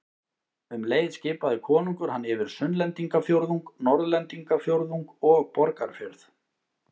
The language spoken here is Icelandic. Um leið skipaði konungur hann yfir Sunnlendingafjórðung, Norðlendingafjórðung og Borgarfjörð.